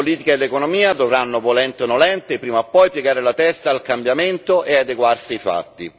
La politica e l'economia dovranno, volenti o nolenti, prima o poi piegare la testa al cambiamento e adeguarsi ai fatti.